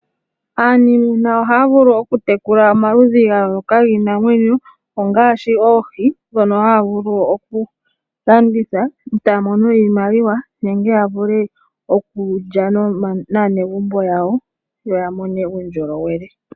Aaniimuna ohaa vulu okutekula omakudhi ga yooloka giinamwenyo, ongaashi oohi, ndhono haa vulu okulanditha, e taa mono iimaliwa, nenge ya vule okulya naanegumbo yawo, yo ya mone uundjolowele.